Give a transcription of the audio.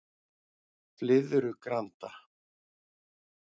Flyðrugranda